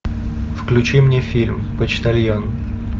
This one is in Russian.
включи мне фильм почтальон